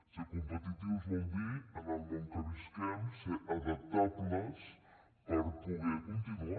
ser competitius vol dir en el món que visquem ser adaptables per poder continuar